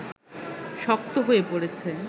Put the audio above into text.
শক্ত হয়ে পড়েছে